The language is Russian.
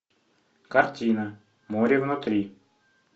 картина море внутри